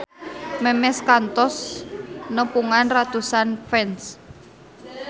Memes kantos nepungan ratusan fans